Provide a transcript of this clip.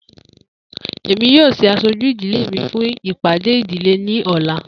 Emi yoo ṣe aṣoju idile mi fun ipade idile ni ọla.